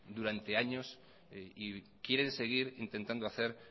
durante años y quieren seguir intentando hacer